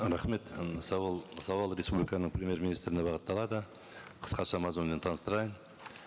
рахмет м сауал сауал республиканың премьер министріне бағытталады қысқаша мазмұнымен таныстырайын